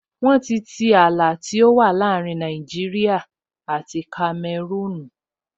Wọ́n ti tii ààlà tó wà láàrin Nàìjíríyà àti Kamẹrúùn